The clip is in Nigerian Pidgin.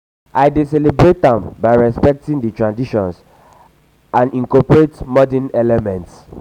um i dey celebrate am by respecting di traditions and um incorporate modern elements. um